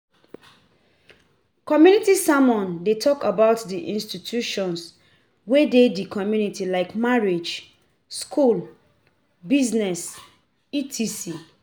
Community sermon de talk about di institutions wey de di community like marriage, school, business etc.